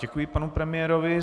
Děkuji panu premiérovi.